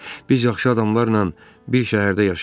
Biz yaxşı adamlarla bir şəhərdə yaşayacağıq.